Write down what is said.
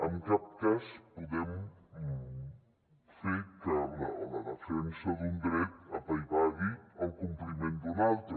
en cap cas podem fer que la defensa d’un dret apaivagui el compliment d’un altre